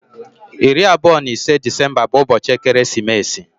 25th (iri abụọ na ise) Disemba bu ubochi ekeresimeesi.